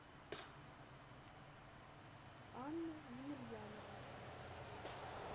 анна емельянова